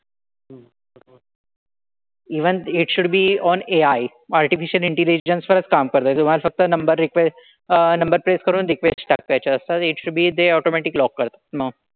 Even it should be on AI artificial intelligence वरच काम करतात. तुम्हाला फक्त number request uh number press करून request टाकायच्या असतात. It should be ते automatic lock करतात मग.